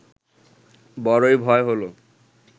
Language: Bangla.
বড়ই ভয় হল